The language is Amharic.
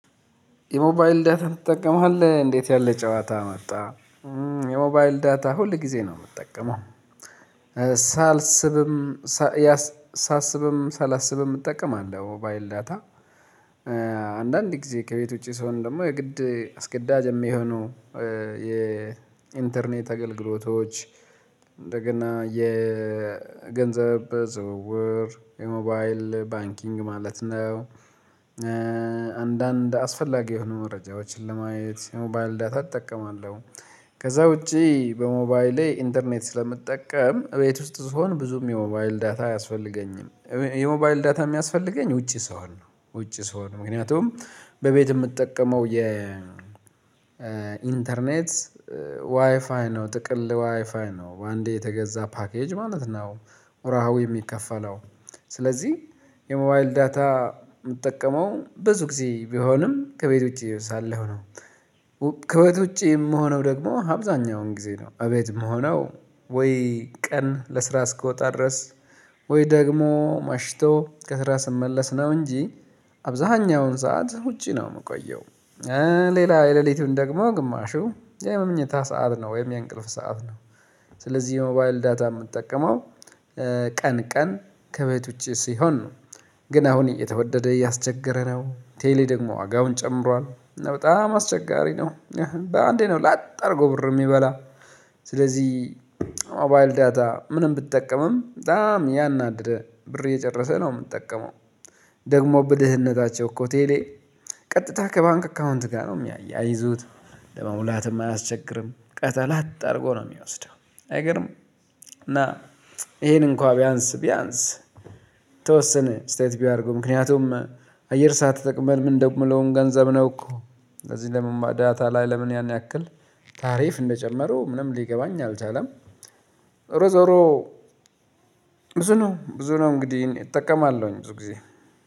የሞባይል ዳታ ትጠቀማለህ? እንዴት ያለ ጨዋታ መጣ የሞባይል ዳታ ሁል ጊዜ ነው የምጠቀመው። ሳስብም ሳላስብም እጠቀማለሁ የሞባይል ዳታ አንዳንድ ጊዜ ከቤት ውጪ ስሆን ደግሞ የግድ አስገዳጅ የሚሆነው የኢንተርኔት አገልግሎቶች እንደገና የገንዘብ ዝውውር የሞባይል ባንኪንግ ማለት ነው አንዳንድ አስፈላጊ የሆኑ መረጃዎችን ለማየት የሞባይል ዳታ እጠቀማለሁ። ከዛ ውጪ በሞባይሌ ኢንተርኔት ስለምጠቀም ቤት ውስጥ ስሆን ብዙም የሞባይል ዳታ አያስፈልገኝም። የሞባይል ዳታ የሚያስፈልገኝ ውጪ ስሆን ውጪ ስሆን ምክንያቱም በቤት የምትጠቀመው የ ኢንተርኔት ዋይፋይ ነው ጥቅል ዋይፋይ ነው በአንዴ የተገዛ ፓኬጅ ማለት ነው፣ ወርሃዊ የሚከፈለው ስለዚህ የሞባይል ዳታ የምጠቀመው ብዙ ጊዜ ቢሆንም ከቤት ውጪ ሳለሁ ነው። ከቤት ውጪ የምሆነው ደግሞ አብዛኛውን ጊዜ ነው አቤት የምሆነው ወይ ቀን ለስራ እስክወጣ ድረስ ወይ ደግሞ መሽቶ ከስራ ስመለስ ነው እንጂ አብዛኛውን ሰዓት ውጪ ነው የምቆየው። ሌላ የሌሊቱን ደግሞ ግማሹ የመኝታ ሰዓት ነው ወይም የእንቅልፍ ሰዓት ነው። ስለዚህ የሞባይል ዳታ የምጠቀመው ቀን ቀን ከቤት ውጪ ሲሆን ነው ግን አሁን እየተወደደ እያስቸገረ ነው ቴሌ ደግሞ ዋጋውን ጨምሯል፣ እና በጣም አስቸጋሪ ነው በአንዴ ነው ላጥ አድርጎ ብር የሚበላ ስለዚህ ሞባይል ዳታ ምንም ብትጠቀምም በጣም እያናደደ ብር እየጨረሰ ነው የምጠቀመው ደግሞ በድህነታቸው እኮ ቴሌ ቀጥታ ከባንክ አካውንት ጋር ነው የሚያያይዙት ለመሙላትም አያስቸግርም ከዛ ላጥ አድርጎ ነው የሚወስደው አይገርም እና ይሄን እንኳን ቢያንስ ቢያንስ የወሰነ አስተያየት ቢያደርጉ ምክንያቱም አየር ሰዓት ተጠቅመን የምንደዉለዉም ገንዘብ ነው እኮ እንደዚህ ለምን ማዳታ ላይ ለምን ያን ያክል ታሪፍ እንደጨመሩ ምንም ሊገባኝ አልቻለም ዞሮ እሮ ብዙ ነው ብዙ ነው እንግዲህ እጠቀማለሁኝ ብዙ ጊዜ።